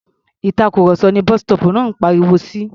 Ìtàkurọ̀sọ ní bus-stop náà ń pariwo si.